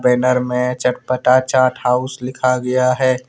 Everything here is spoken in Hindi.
डिनर में चटपटा चाट हाउस लिखा गया है।